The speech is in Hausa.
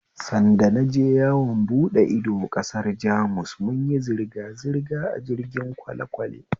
Sanda naje yawon buɗe ido ƙasar Jamus munyi zirgazirga a jirgin kwalekwale